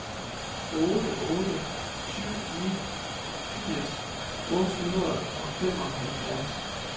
otte otte syv ni firs otte hundrede og femoghalvfjerds